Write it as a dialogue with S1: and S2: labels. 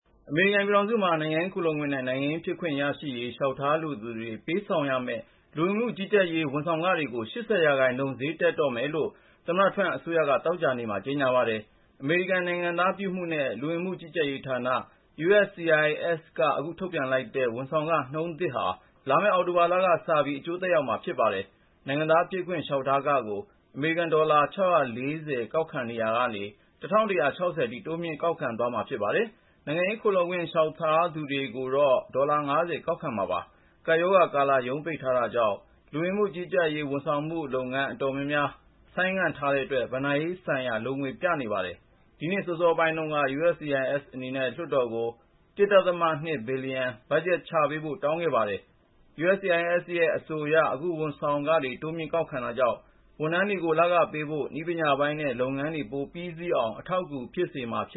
S1: အမေရိကန်ပြည်ထောင်စုမှာ နိုင်ငံရေးခိုလှုံခွင့် နဲ့ နိုင်ငံသားဖြစ်ခွင့် ရရေး လျှောက်ထားလိုသူတွေ ပေးဆောင်ရမယ့် လူဝင်မှုကြီးကြပ်ရေး ဝန်ဆောင်ခ တွေကို ၈၀% ဈေးတက်တော့မယ်လို့ သမ္မတ Trump အစိုးရက သောကြာနေ့မှာ ကြေညာလိုက်ပါတယ်။ အမေရိကန် နိုင်ငံသားပြုမှုနဲ့ လူဝင်မှုကြီးကြပ်ရေးဌာန (USCIS) က အခု အသစ်ထုတ်ပြန်လိုက်တဲ့ ဝန်ဆောင်ခ နှုန်းထားသစ်ဟာ လာမယ့် အောက်တိုဘာလက စပြီး အကျိုးသက်ရောက် လိမ့်မယ်လို့ မှန်းထားပါတယ်။ နိုင်ငံသားဖြစ်ခွင့် လျှောက်ထားခကို အမေရိကန် ဒေါ်လာ (၆၄၀) ကောက်ခံရာကနေ အခု (၁၁၆၀) ထိ တိုးမြှင့်ကောက်ခံသွားမှာဖြစ်ပါတယ်။ နိုင်ငံရေး ခိုလှုံခွင့်လျှောက်ထားသူတွေကို ဒေါ်လာ ၅၀ ကောက်ခံသွားမှာပါ။ ကပ်ရောဂါကာလ ရုံးပိတ်ထားတာကြောင့် (USCIS) ဝန်ဆောင်မှု အတော်များများကို ဆိုင်းငံ့ထားတဲ့အတွက် ဘဏ္ဍာရေးဆိုင်ရာ လိုငွေပြနေတာပါ။ ဒီနှစ်အစောပိုင်းတုန်းက (USCIS) အနေနဲ့ လွှတ်တော်ကို အရေးပေါ် ရန်ပုံငွေ ၁.၂ ဘီလီယံချထားပေးဖို့ တောင်းဆိုခဲ့ပါတယ်။ USCIS ရဲ့ အဆိုအရ အခုလို ဝန်ဆောင်ခတွေတိုးမြှင့်ကောက်ခံတာကြောင့် ဝန်ထမ်းတွေကို လခပေးဖို့၊ နည်းပညာပိုင်းနဲ့ လုပ်ငန်းတွေပြီးမြောက်အောင် အထောက်အကူဖြစ်မှာ ဖြ